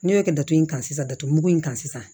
Ne bɛ kɛ datugu in kan sisan datugumugu in kan sisan